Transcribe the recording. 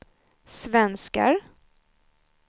svenskar